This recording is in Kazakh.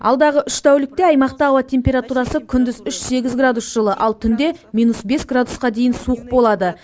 алдағы үш тәулікте аймақта ауа температурасы күндіз үш сегіз градус жылы ал түнде минус бес градусқа дейін суық болады